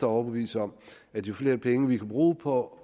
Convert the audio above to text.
overbevise om at jo flere penge vi kan bruge på